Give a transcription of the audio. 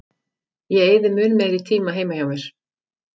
Ég eyði mun meiri tíma heima hjá mér.